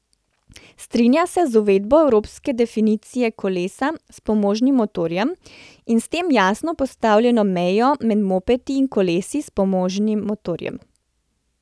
Strinja se z uvedbo evropske definicije kolesa s pomožnim motorjem in s tem jasno postavljeno mejo med mopedi in kolesi s pomožnim motorjem.